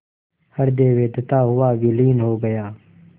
हृदय वेधता हुआ विलीन हो गया